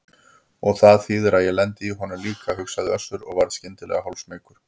Og það þýðir að ég lendi í honum líka, hugsaði Össur og varð skyndilega hálfsmeykur.